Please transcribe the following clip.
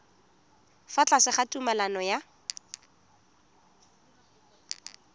fa tlase ga tumalano ya